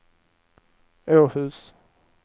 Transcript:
Åhus